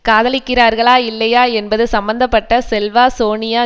காதலிக்கிறார்களா இல்லையா என்பது சம்பந்த பட்ட செல்வா சோனியா